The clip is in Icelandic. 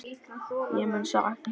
Ég mun sakna ykkar.